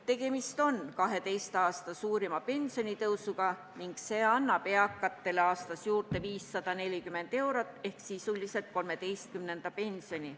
Tegemist on 12 aasta suurima pensionitõusuga ning see annab eakatele aastas juurde 540 eurot ehk sisuliselt 13. pensioni.